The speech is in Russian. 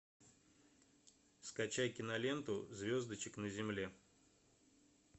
скачай киноленту звездочек на земле